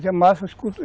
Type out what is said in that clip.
massa.